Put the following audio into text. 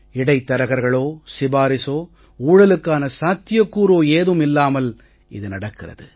இடைத்தரகர்களோ சிபாரிசோ ஊழலுக்கான சாத்தியக்கூறோ ஏதும் இல்லாமல் இது நடக்கிறது